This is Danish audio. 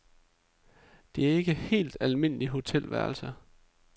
Det er ikke helt almindelige hotelværelser.